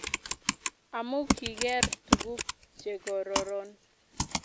amu kigeer tuguk chegororon inaeza kole kikichapee